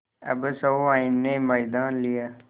अब सहुआइन ने मैदान लिया